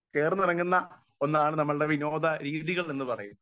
speaker 1 ചേർന്ന് ഇണങ്ങുന്ന ഒന്നാണ് നമ്മളുടെ വിനോദ രീതികൾ എന്നുപറയുന്നത് അതെ